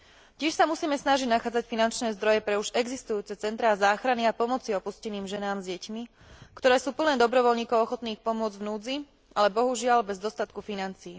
Tiež sa musíme snažiť nachádzať finančné zdroje pre už existujúce centrá záchrany a pomoci opusteným ženám s deťmi, ktoré sú plné dobrovoľníkov ochotných pomôcť v núdzi, ale, bohužiaľ, bez dostatku financií.